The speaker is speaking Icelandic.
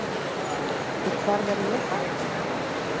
Og hvar verð ég þá?